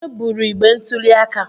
Onye buru igbe ntuli aka?